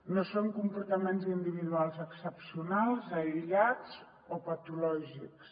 no són comportaments individuals excepcionals aïllats o patològics